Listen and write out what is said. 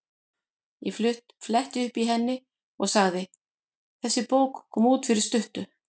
Ég fletti upp í henni og sagði: Þessi bók kom út fyrir stuttu.